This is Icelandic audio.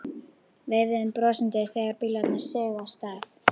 Veifuðum brosandi þegar bílarnir sigu af stað.